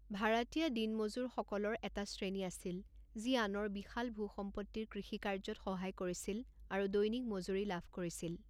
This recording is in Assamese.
ভাড়াতীয়া দিন মজুৰসকলৰ এটা শ্ৰেণী আছিল যি আনৰ বিশাল ভূ সম্পত্তিৰ কৃষি কাৰ্যত সহায় কৰিছিল আৰু দৈনিক মজুৰি লাভ কৰিছিল।